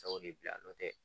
Sɛw de bi yan , n'o tɛ